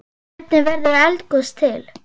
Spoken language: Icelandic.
Hvernig verður eldgos til?